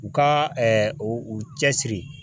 U ka o u cɛsiri.